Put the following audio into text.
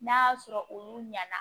N'a y'a sɔrɔ olu ɲɛna